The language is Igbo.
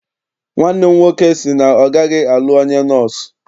Nwanne m nwoke sị na ọ gaghị alụ onye nọọsụ.